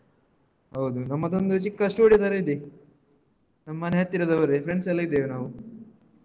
ಹೌದು. ನಮ್ಮದೊಂದು ಚಿಕ್ಕ studio ತರ ಇದೆ ನಮ್ಮನೆ ಹತ್ತಿರದವರೇ friends ಎಲ್ಲ ಇದ್ದೇವೆ ನಾವು.